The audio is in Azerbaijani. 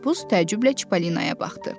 Məhbus təəccüblə Çipollinaya baxdı.